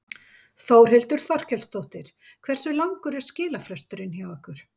Þórhildur Þorkelsdóttir: Hversu langur er skilafresturinn hjá ykkur?